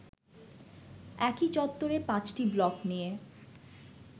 একই চত্বরে পাঁচটি ব্লক নিয়ে